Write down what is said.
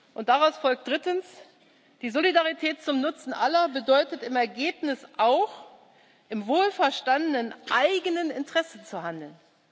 Und daraus folgt drittens Die Solidarität zum Nutzen aller bedeutet im Ergebnis auch, im wohlverstandenen eigenen Interesse zu handeln.